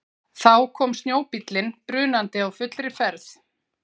Þá kom snjóbíllinn brunandi á fullri ferð.